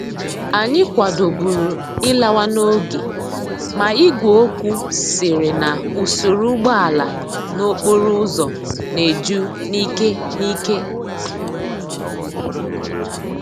Anyi kwadoburu ilawa n'oge ma igwe okwu siri na usoro úgbòala n'okporo úzò na eju n'ike n'ike.